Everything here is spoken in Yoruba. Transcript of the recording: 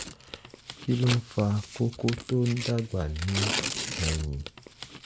kí ló ń fa kókó tó ń dàgbà ní ẹ̀yìn?